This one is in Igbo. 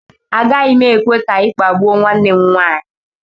Agaghị m ekwe ka ị kpagbuo nwanne m nwaanyị